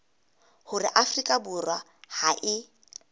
hore afrika borwa ha e